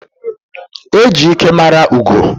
E ji ike mara ugo.